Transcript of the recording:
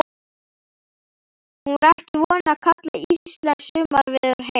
Hún var ekki vön að kalla íslenskt sumarveður heitt.